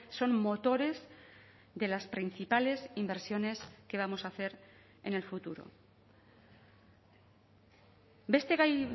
son motores de las principales inversiones que vamos a hacer en el futuro beste gai